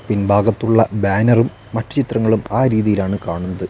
പിൻഭാഗത്തുള്ള ബാനറും മറ്റു ചിത്രങ്ങളും ആ രീതിയിലാണ് കാണുന്നത്.